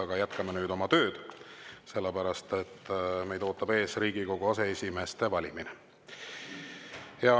Aga jätkame oma tööd, sellepärast et meid ootab ees Riigikogu aseesimeeste valimine.